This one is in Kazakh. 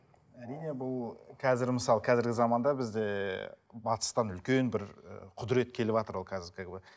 әрине бұл қазір мысалы қазіргі заманда бізде батыстан үлкен бір ы құдірет келіватыр ол казір как бы